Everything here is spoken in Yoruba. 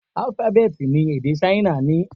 Álúfábẹ́tì ni èdè Ṣáínà ní?